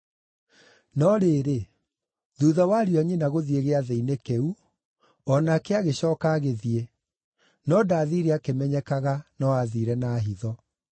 No rĩrĩ, thuutha wa ariũ a nyina gũthiĩ Gĩathĩ-inĩ kĩu, o nake agĩcooka agĩthiĩ, no ndaathiire akĩmenyekaga, no aathiire na hitho.